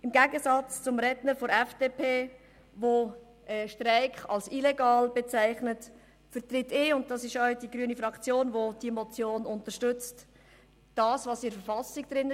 Im Gegensatz zum Redner der FDP, der den Streik als illegal bezeichnet, vertrete ich – und auch die grüne Fraktion, die die Motion unterstützt –, was in der Verfassung steht.